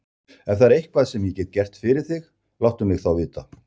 Ef það er eitthvað, sem ég get gert fyrir þig, láttu mig þá vita.